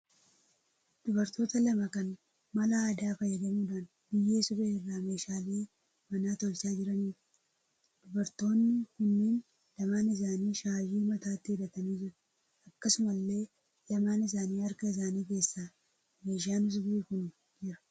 Dubartoota lama kan mala aadaa fayyadamuudhaan biyyee suphee irraa meeshaalee manaa tolchaa jiraniidha. Dubartoonni kunneen lamaan isaanii shaashii mataatti hidhatanii jiru. Akkasumallee lamaan isaanii harka isaanii keessa meeshaan suphee kun jira.